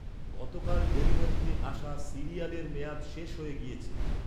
গতকাল ডেলিভারিতে আসা সিরিয়ালের মেয়াদ শেষ হয়ে গিয়েছে।